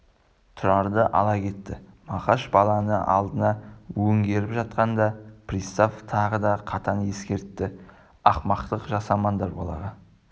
тұрарды ала кетті мақаш баланы алдына өңгеріп жатқанда пристав тағы да қатаң ескертті ақымақтық жасамандар балаға